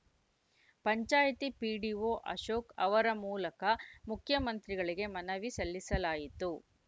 panchayat PDO Ashok ಅವರ ಮೂಲಕ ಮುಖ್ಯಮಂತ್ರಿಗಳಿಗೆ ಮನವಿ ಸಲ್ಲಿಸಲಾಯಿತು